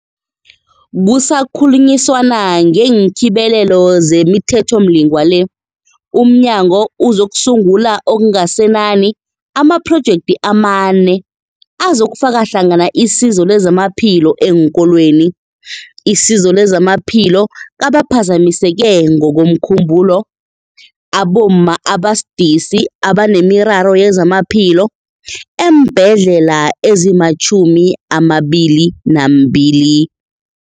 Kusakhulunyiswana ngeenKhibelelo zemiThethomlingwa le, umnyango uzokusungula okungasenani ngamaphrojekthi amane azokufaka hlangana isizo lezamaphilo eenkolweni, isizo lezamaphilo kabaphazamiseke ngokomkhumbulo, abomma abasidisi abanemiraro yezamaphilo eembhedlela ezima-22